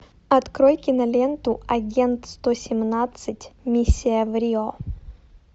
открой киноленту агент сто семнадцать миссия в рио